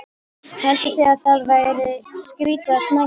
Haldið þið að það verið skrýtið að mætast?